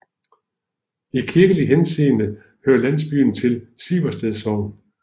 I kirkelig henseende hører landsbyen til Siversted Sogn